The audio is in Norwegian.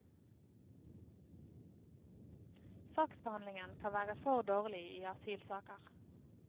Saksbehandlingen kan være for dårlig i asylsaker.